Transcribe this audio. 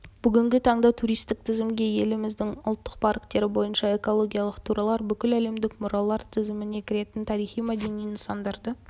бүгінгі таңда туристік тізімге еліміздің ұлттық парктері бойынша экологиялық турлар бүкіләлемдік мұралар тізіміне кіретін тарихи-мәдени нысандарды